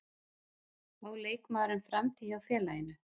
Á leikmaðurinn framtíð hjá félaginu?